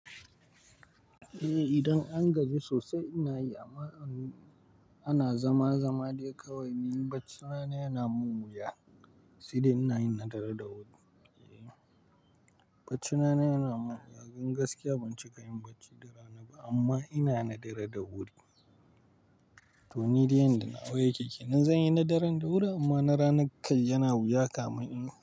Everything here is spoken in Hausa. Eh idan an gaji sosai ana zama zama dai kawai, ni bacina yana mun wuya, sidi ina yin nadara da wuri. Bacina yana mun wuya don gaskiya ban cika yin bacci da rana ba amma ina nadara da wuri. To ni dai yanda na wa yake, kinan zan yi nadaran da wuri amma na ranan kal yana wuya kam in kai.